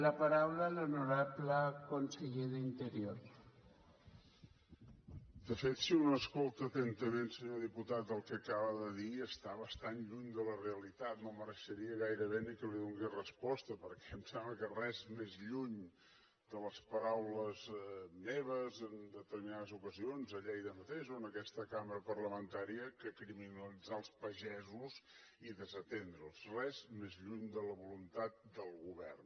de fet si un escolta atentament senyor diputat el que acaba de dir està bastant lluny de la realitat no mereixeria gairebé ni que li donés resposta perquè em sembla que res més lluny de les paraules meves en determinades ocasions a lleida mateix o en aquesta cambra parlamentària que criminalitzar els pagesos i desatendre’ls res més lluny de la voluntat del govern